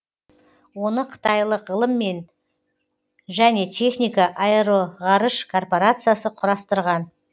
оны қытайлық ғылым мен және техника аэроғарыш корпорациясы құрастырған